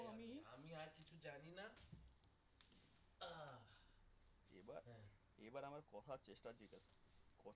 এবার আমার কথা বুঝবার চেষ্টা কর